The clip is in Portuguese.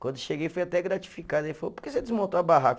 Quando cheguei fui até gratificado, ele falou, por que você desmontou a barraca?